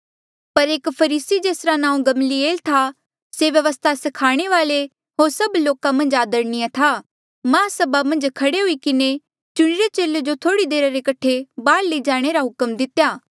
पर एक फरीसी जेसरा नांऊँ गमलीएल से व्यवस्था स्खाणे वाल्ऐ होर सभ लोका मन्झ आदरणीय था महासभा मन्झ खड़े हुई किन्हें चुणिरे चेले जो थोड़ी देरा रे कठे बहार लई जाणे रा हुक्म दितेया